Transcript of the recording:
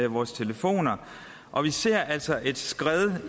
vores telefoner og vi ser altså et skred